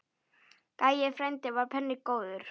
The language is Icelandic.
Gæi frændi var penni góður.